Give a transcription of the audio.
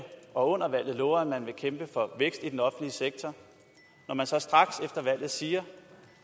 og under valget lovede at man ville kæmpe for vækst i den offentlige sektor når man så straks efter valget siger